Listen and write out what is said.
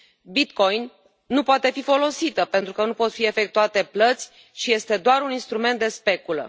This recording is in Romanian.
Bitcoin nu poate fi folosită, pentru că nu pot fi efectuate plăți și este doar un instrument de speculă.